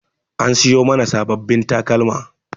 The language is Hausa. An siyo mana sabbabin takalma.